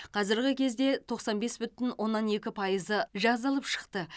қазіргі кезде тоқсан екі бүтін оннан екі пайызы жазылып шықты